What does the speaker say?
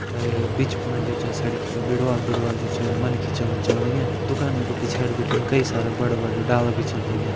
अर अ बीच फुण जु छ सड़की का बिडवाल बिडवाल जो छ मनखी छन चलण लग्यां दुकानियु क पिछाड़ी बिटिन कई सारा बड़ा बड़ा डाला बि छन लग्यां।